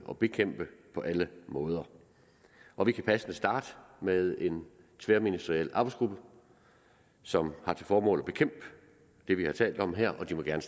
og bekæmpe på alle måder og vi kan passende starte med en tværministeriel arbejdsgruppe som har til formål at bekæmpe det vi har talt om her og de må gerne